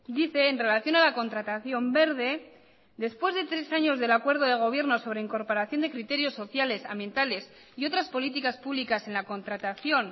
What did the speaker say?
dice en relación a la contratación verde después de tres años del acuerdo de gobierno sobre incorporación de criterios sociales ambientales y otras políticas públicas en la contratación